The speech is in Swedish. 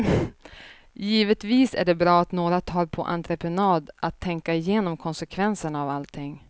Givetvis är det bra att några tar på entreprenad att tänka igenom konsekvenserna av allting.